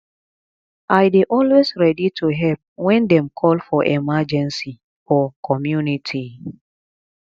i dey always ready to help when dem call for emergency for community